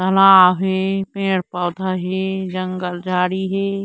तालाब हे पेड़ - पौधा हे जंगल झाड़ी हे।